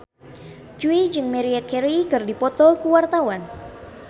Jui jeung Maria Carey keur dipoto ku wartawan